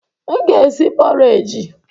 M ga-esi pọreji.